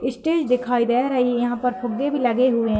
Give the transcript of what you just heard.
Stage दिखायी दे रही है। यहा पर फुग्गे भी लगे हुवे है।